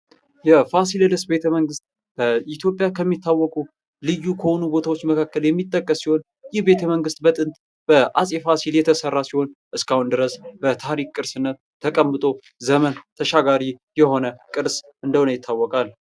የፋሲለደስ ቤተመንግስት በኢትዮጵያ ከሚታወቁ ልዩ ከሆኑ ቦታዎች መካከል የሚጠቀስ ሲሆን ይህ ቤተመንግስት በጥንት በአፄ ፋሲል የተሰራ ሲሆን እስካሁን ድረስ በታሪክ ቅርስነት ተቀምጦ ዘመን ተሻጋሪ የሆነ ቅርስ እንደሆነ ይታወቃል።